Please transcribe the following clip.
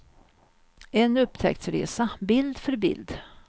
En upptäcktsresa, bild för bild.